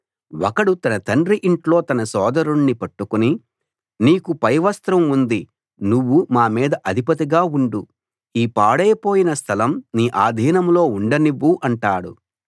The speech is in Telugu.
ఒకడు తన తండ్రి ఇంట్లో తన సోదరుణ్ణి పట్టుకుని నీకు పైవస్త్రం ఉంది నువ్వు మా మీద అధిపతిగా ఉండు ఈ పాడైపోయిన స్థలం నీ ఆధీనంలో ఉండనివ్వు అంటాడు